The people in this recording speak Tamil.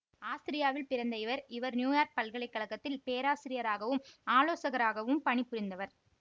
ஆஸ்திரியாவில் பிறந்த இவர் இவர் நியூயார்க் பல்கலை கழகத்தில் பேராசிரியராகவும் ஆலோசகராகவும் பணிபுரிந்தவர்